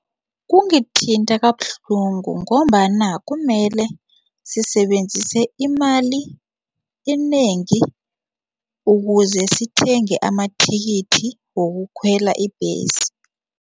Kungithinta kabuhlungu ngombana kumele sisebenzise imali enengi ukuze sithenge amathikithi wokukhwela ibhesi.